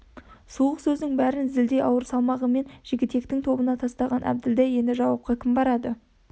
суық сөздің бәрін зілдей ауыр салмағымен жігітектің тобына тастаған әбділда енді жауапқа кім барады